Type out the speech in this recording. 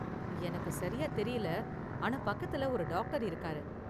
எனக்குச் சரியா தெரியல, ஆனா பக்கத்துல ஒரு டாக்டர் இருக்காரு.